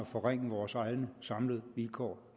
forringe vores egne samlede vilkår